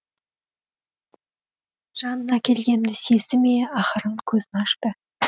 жанына келгенімді сезді ме ақырын көзін ашты